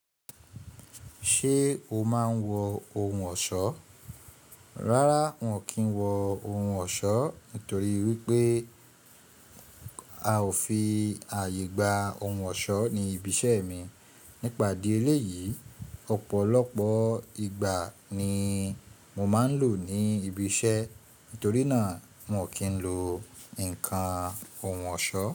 Ṣé o máa ń wọ ohun ọ̀ṣọ́? Rárá, n ò kí ń wọ ohun ọ̀ṣọ́ nítorí wípé a ò fi àyè gba ohun ọ̀ṣọ́ ní ibi iṣẹ́ mi. Nípa dí eléyìí, ọ̀pọ̀lọpọ̀ igbá ni mo máa ń lò ní ibi iṣẹ́, nítorí náà n ò kí ń lo ǹkan ohun ọ̀ṣọ́